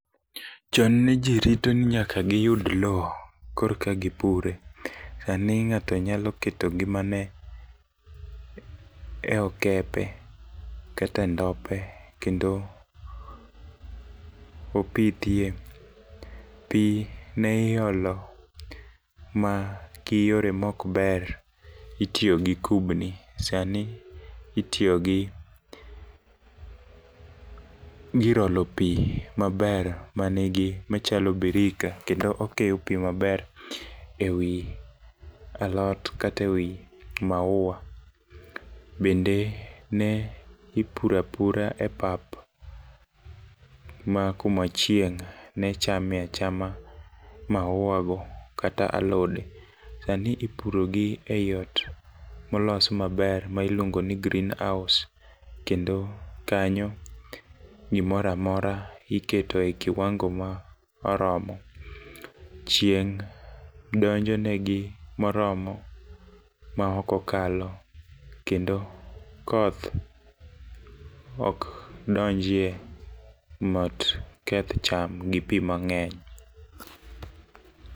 Chon ne jii rito ni nyaka giyud lowo korka gipure. Sani ng'ato nyalo keto ngimane e okepe kata e ndope kendo opithie. Pii ne iolo ma giyore mok ber itiyo gi kubni ,sani itiyo gi gir olo pii maber manigi machalo birika kendo okeyo pii maber ewi alot kata ewi maua. Bende ne ipura pura e pap ma kuma chieng' ne chame achama maua go kata alode. Sani ipuro gi e iot molos maber ma iluongo ni green house kendo kanyo gimoramora iketoe kiwango ma oromo. Chieng' donjone gi moromo ma ok okalo kendo koth ok donjie mit keth cham gi pii mang'eny.